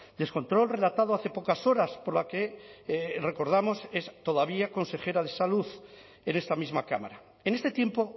descontrol relatado hace pocas horas por la que recordamos es todavía consejera de salud en esta misma cámara en este tiempo